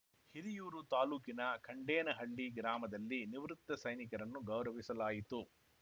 ಹಿರಿಯೂರು ತಾಲೂಕಿನ ಖಂಡೇನಹಳ್ಳಿ ಗ್ರಾಮದಲ್ಲಿ ನಿವೃತ್ತ ಸೈನಿಕರನ್ನು ಗೌರವಿಸಲಾಯಿತು